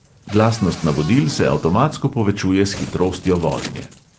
Glasnost navodil se avtomatsko povečuje s hitrostjo vožnje.